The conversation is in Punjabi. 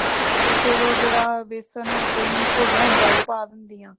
ਤੇ ਫੇਰ ਉਹ ਜੇੜਾ ਬੇਸਨ ਔਰ ਦਹੀਂ ਘੋਲਯਾ ਹੋਂਦਾ ਉਹ ਪਾ ਦੇਂਦੀ ਹਾਂ